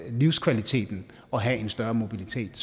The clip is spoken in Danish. livskvaliteten at have en større mobilitet